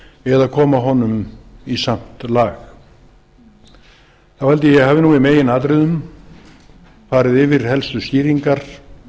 eða koma honum í samt lag þá held ég að ég hafi í meginatriðum fari yfir helstu skýringar